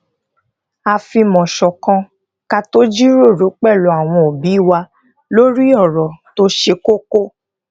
a fimo ṣòkan ka to jíròrò pelu àwọn obi wa lori òrò tó se koko